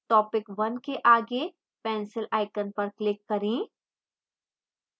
topic 1 के आगे pencil icon पर click करें